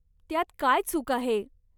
त्यात काय चूक आहे?